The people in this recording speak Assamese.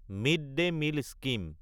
mid-day meal scheme